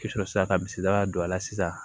I sɔrɔ ka misida don a la sisan